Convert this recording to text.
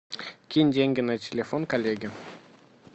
кинь деньги на телефон коллеге